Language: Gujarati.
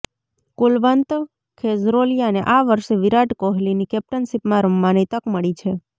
કુલવંત ખેજરોલિયાને આ વર્ષે વિરાટ કોહલીની કેપ્ટનશીપમાં રમવાની તક મળી છે